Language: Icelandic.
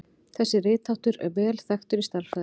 Þessi ritháttur er vel þekktur í stærðfræði.